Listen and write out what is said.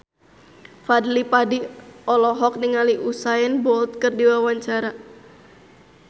Fadly Padi olohok ningali Usain Bolt keur diwawancara